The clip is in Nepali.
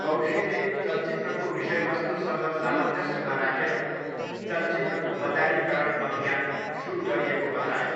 कौशिकले 'चलचित्रको विषयवस्तु' सँग सामञ्जस्यमा राखेर चलचित्रको बजारीकरण अभियान सुरु गरिएको बताए।